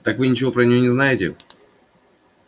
так вы ничего про неё не знаете